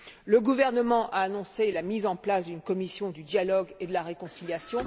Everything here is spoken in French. Le gouvernement a annoncé la mise en place d'une commission de dialogue et de réconciliation